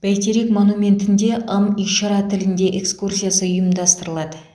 бәйтерек монументінде ым ишара тілінде экскурсиясы ұйымдастырылады